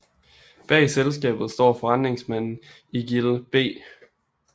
Bag selskabet står forretningsmanden Eigild B